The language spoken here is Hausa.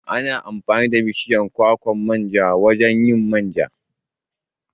Ana amfani da bishiyar kwakwan manja wajan yin manja